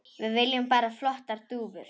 Við viljum bara flottar dúfur.